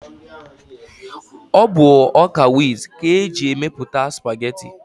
Ọ bụ ọ́kà wit ka eji emepụta spageti.